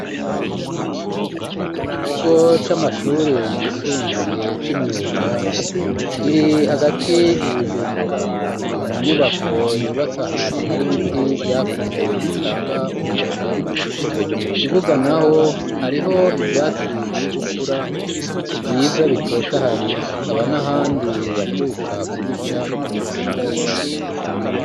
Mu kigo c'amashuri yisumbuye c'imyuga, kiri hagati Ibujumbura ,ni mu nyubako yubatse ahantu hari biti vyakuze bitanga umuyaga ,mu kibuga naho hariho ivyatsi biri gukura vyiza bitotahaye hakaba n'ahandi baheruka kubica atabihari.